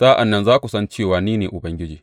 Sa’an nan za ku san cewa ni ne Ubangiji.